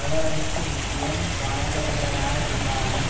எவ்வளவிற்கு முக்கியம் வாய்ந்தவையாகயிருந்தாலும்